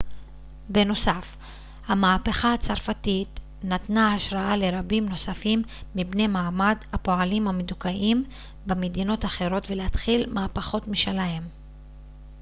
בנוסף המהפכה הצרפתית נתנה השראה לרבים נוספים מבני מעמד הפועלים המדוכאים במדינות אחרות להתחיל מהפכות משלהם